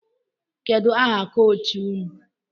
Kedu aha kọchị ụnụ?